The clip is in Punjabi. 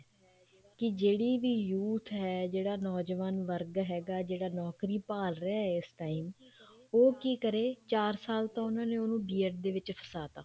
ਵੀ ਜਿਹੜੀ ਵੀ youth ਹੈ ਨੋਜਵਾਨ ਵਰਗ ਹੈ ਹੈਗਾ ਜਿਹੜਾ ਨੋਕਰੀ ਭਾਲ ਰਿਹਾ ਇਸ time ਉਹ ਕੀ ਕਰੇ ਚਾਰ ਸਾਲ ਤਾਂ ਉਹਨਾ ਨੇ ਉਹਨੂੰ B.ED ਦੇ ਵਿੱਚ ਫਸਾ ਤਾ